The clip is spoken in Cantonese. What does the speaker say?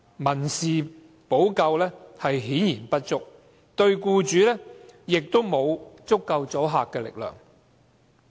民事補救顯然不足，對僱主亦沒有足夠的阻嚇力。